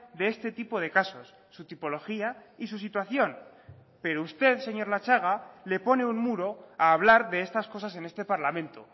de este tipo de casos su tipología y su situación pero usted señor latxaga le pone un muro a hablar de estas cosas en este parlamento